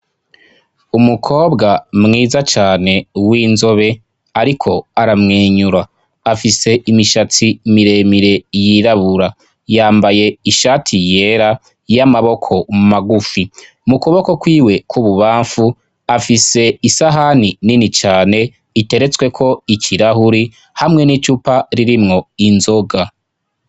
Umukobwa mwiza cane w'inzobe, ariko aramwenyura. Afise imishatsi miremire yirabura. Yambaye ishati yera y'amaboko magufi. Mu kuboko kw'iwe kw'ububamfu, afise isahani nini cane, iteretsweko ikirahuri, hamwe n'icupa ririmwo inzoga.